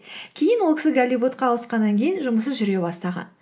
кейін ол кісі голливудқа ауысқаннан кейін жұмысы жүре бастаған